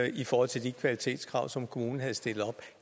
i forhold til de kvalitetskrav som kommunen havde stillet op